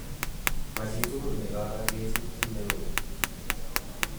Machitugul nekoorogechi kit neu ni.